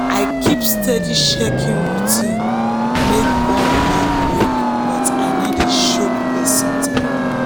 i keep steady check-in routine make bond no break but i no dey choke person time.